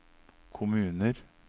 kommuner